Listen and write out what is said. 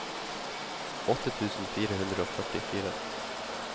åtte tusen fire hundre og førtifire